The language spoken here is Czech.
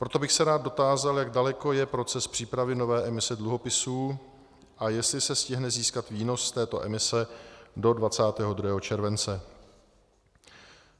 Proto bych se rád dotázal, jak daleko je proces přípravy nové emise dluhopisů a jestli se stihne získat výnos z této emise do 22. července.